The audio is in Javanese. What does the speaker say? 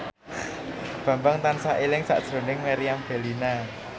Bambang tansah eling sakjroning Meriam Bellina